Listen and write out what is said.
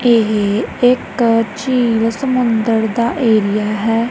ਇਹੇ ਇਕ ਛਿੱਲ ਸਮੁੰਦਰ ਦਾ ਏਰੀਆ ਹੈ।